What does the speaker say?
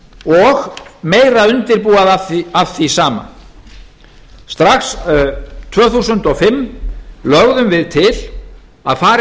og meira undirboð af því sama strax tvö þúsund og fimm lögðum við til að farið